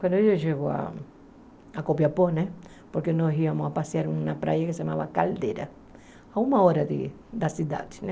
Quando eu chego a Copiapó, né, porque nós íamos a passear em uma praia que se chamava Caldeira, a uma hora de da cidade, né.